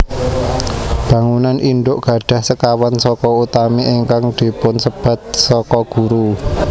Bangunan indhuk gadhah sekawan saka utami ingkang dipunsebat saka guru